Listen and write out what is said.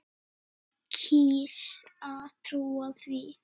Ég kýs að trúa því.